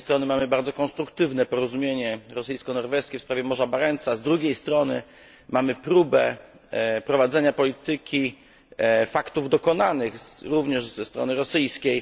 Z jednej strony mamy bardzo konstruktywne porozumienie rosyjsko norweskie w sprawie Morza Barentsa, z drugiej strony mamy próbę prowadzenia polityki faktów dokonanych, również ze strony rosyjskiej.